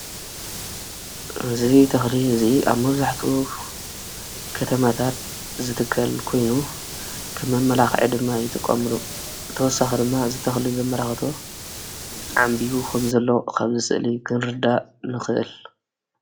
እዚ ተኽሊ እዚ ኣብ መብዛሕቲኡ ከተማታት ዝትከል ኮይኑ ከም መመላኽዒ ድማ ይጥቀሙሉ። ብተወሳኺ ድማ እዚ ተኽሊ ዘመላኽቶ ዓምቢቡ ከምዘሎ ካብዚ ስእሊ ክንርዳእ ንኽእል።